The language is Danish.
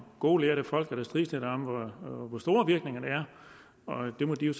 gode lærde folk der strides lidt om hvor store virkningerne er og de må jo